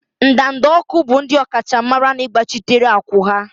ndanda ọkụ bụ ndị ọkachamara n'ịgbachitere akwụ́ ha.